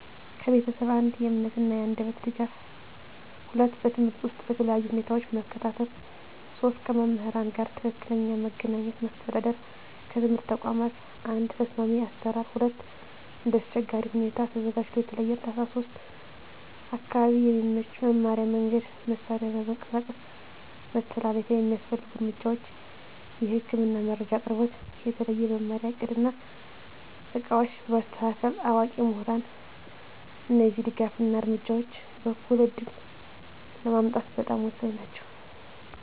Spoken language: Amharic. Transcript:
ከቤተሰብ፦ 1. የእምነት እና የአንደበት ድጋፍ 2. በትምህርት ውስጥ በተለያዩ ሁኔታዎች መከታተል 3. ከመምህራን ጋር ትክክለኛ መገናኘት ማስተዳደር ከትምህርት ተቋም፦ 1. ተስማሚ አሰራር 2. እንደ አስቸጋሪ ሁኔታ ተዘጋጅቶ የተለየ እርዳታ 3. አካባቢ የሚመች መማሪያ መንገድ፣ መሳሪያ እና መንቀሳቀስ መተላለፊያ የሚያስፈልጉ እርምጃዎች፦ የህክምና መረጃ አቅርቦት፣ የተለየ መማሪያ እቅድ እና ዕቃዎች በማስተካከል፣ አዋቂ ምሁራን እነዚህ ድጋፍ እና እርምጃዎች እኩል ዕድል ለማምጣት በጣም ወሳኝ ናቸው።